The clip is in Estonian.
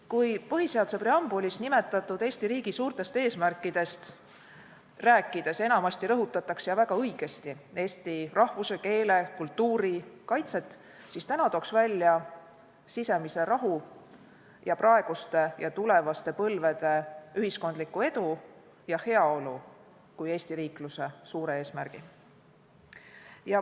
Kui põhiseaduse preambulis nimetatud Eesti riigi suurtest eesmärkidest rääkides rõhutatakse enamasti – ja väga õigesti – eesti rahvuse, keele ja kultuuri kaitset, siis täna tooks välja sisemise rahu ning praeguste ja tulevaste põlvede ühiskondliku edu ja heaolu kui Eesti riikluse suure eesmärgi.